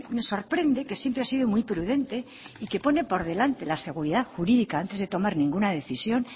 me sorprende que siempre ha sido muy prudente y que pone por delante la seguridad jurídica antes de tomar ninguna decisión